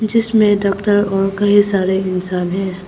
इसमें डॉक्टर और कई सारे इंसान है।